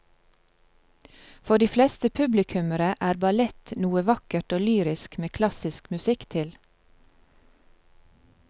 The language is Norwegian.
For de fleste publikummere er ballett noe vakkert og lyrisk med klassisk musikk til.